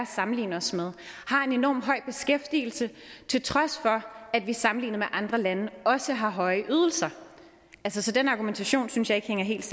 sammenligne os med har en enorm høj beskæftigelse til trods for at vi sammenlignet med andre lande også har høje ydelser så den argumentation synes jeg ikke helt